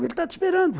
Ele está te esperando.